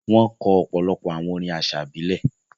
Wọn kọ̀ ọ̀pọ̀lọ̀pọ̀ àwọn orín àṣà ibilẹ̀.